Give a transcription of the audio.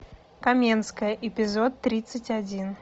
каменская эпизод тридцать один